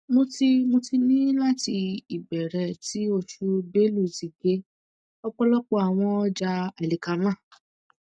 mo ti mo ti ní láti ìbẹ̀rẹ̀ ti oṣù bélú ti gé